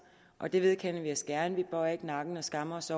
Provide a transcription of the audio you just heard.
og det vedkender vi os gerne vi bøjer ikke nakken og skammer os